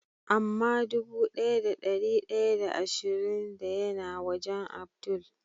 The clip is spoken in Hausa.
Ama dubu daya da dari daya da ashirin da ya na wajen Abdul?